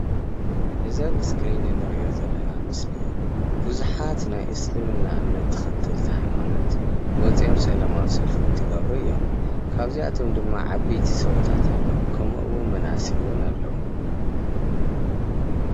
እዚ ኣብ እስክሪን እንሪኦ ዘለና ምስሊ ቡዙሓት ናይ እስልምና እምነት ተከተልቲ ሃይማኖት ወፅኦም ሰለማዊ ሰልፊ እንትገብሩ እዮም፡፡ ካብዚኣቶም ድማ ዓበይቲ ሰውእታት ኣለዉ ከምኡ እውን መናእሰይ እውን ኣለዉ፡፡